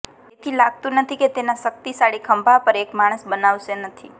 તેથી લાગતું નથી કે તેના શકિતશાળી ખભા પર એક માણસ બનાવશે નથી